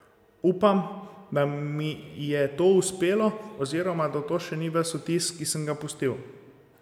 Upam, da mi je to uspelo oziroma da to še ni ves vtis, ki sem ga pustil.